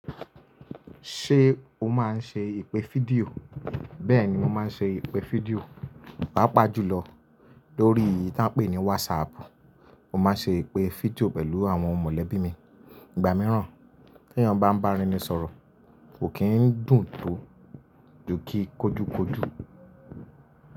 Ṣé o máa ń ṣe ìpè fídíò? Bẹ́ẹ̀ ni mo máa ń ṣe ìpè fídíò, pàápàá jùlọ lórí èyí tí à ń pè ní WhatsApp. Mo máa ń ṣe ìpè fídíò pẹ̀lú àwọn mọ̀lẹ́bí mi ìgbà mìíràn. Tí èeyàn bá ń bára eni sọ̀rọ̀, kò kí ń dùn tó ju kí kójúkójú.